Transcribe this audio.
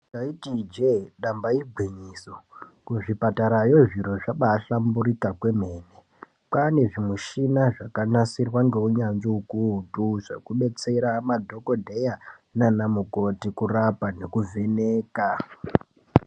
Taiti ije damba igwinyiso kuzvipatara iyo zviro zvabaihlamburika kwemene kwane zvimushina zvakagadzirwa ngeunyanzvi ukuutu zvekubetsera madhokodheya nanamukoti kurapa nekuvheneka.